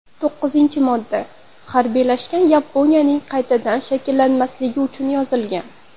To‘qqizinchi modda harbiylashgan Yaponiyaning qaytadan shakllanmasligi uchun yozilgan.